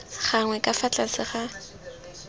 gagwe ka fa tlase ga